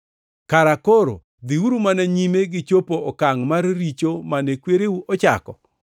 Kara koro dhiuru mana nyime gi chopo okangʼ mar richo mane kwereu ochako!